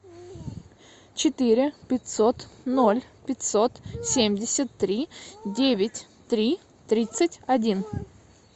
четыре пятьсот ноль пятьсот семьдесят три девять три тридцать один